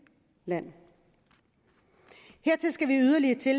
land hertil skal vi yderligere